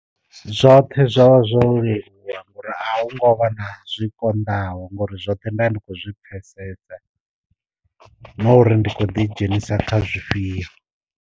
Zwoṱhe zwa vha zwo leluwa ngori a hu ngo vha na zwi konḓaho ngori zwoṱhe ndavha ndi kho zwi pfesesa na uri ndi kho ḓi dzhenisa kha zwifhio.